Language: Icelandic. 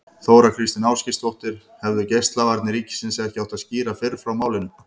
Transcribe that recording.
Þóra Kristín Ásgeirsdóttir: Hefðu Geislavarnir ríkisins ekki átt að skýra fyrr frá málinu?